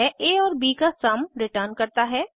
यह आ और ब का सम रिटर्न करता है